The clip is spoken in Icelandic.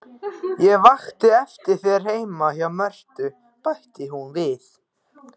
Ég vakti eftir þér heima hjá Mörtu, bætti hún við.